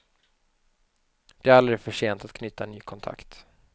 Det är aldrig för sent att knyta ny kontakt.